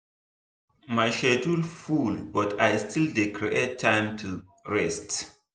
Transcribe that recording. my schedule full but i still dey create time to rest.